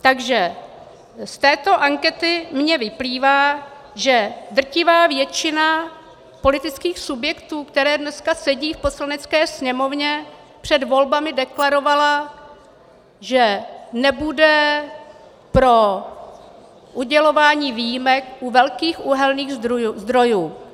Takže z této ankety mi vyplývá, že drtivá většina politických subjektů, které dneska sedí v Poslanecké sněmovně, před volbami deklarovala, že nebude pro udělování výjimek u velkých uhelných zdrojů.